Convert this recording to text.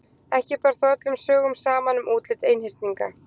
Ekki ber þó öllum sögum saman um útlit einhyrninga.